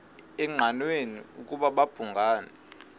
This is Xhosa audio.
engqanweni ukuba babhungani